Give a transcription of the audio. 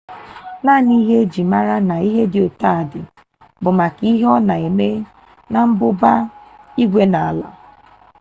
naanị ihe e ji mara na ihe dị otu a dị bụ maka ihe ọ na-eme na mmụba igwe na ala.